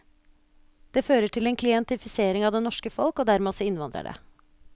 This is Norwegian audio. Det fører til en klientifisering av det norske folk, og dermed også innvandrere.